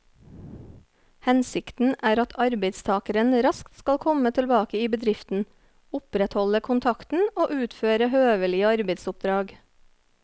Hensikten er at arbeidstakeren raskt skal komme tilbake i bedriften, opprettholde kontakten og utføre høvelige arbeidsoppdrag.